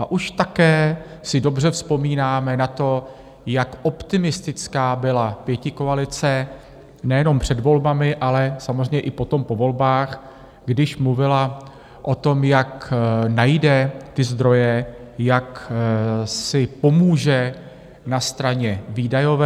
A už také si dobře vzpomínáme na to, jak optimistická byla pětikoalice nejenom před volbami, ale samozřejmě i potom po volbách, když mluvila o tom, jak najde ty zdroje, jak si pomůže na straně výdajové.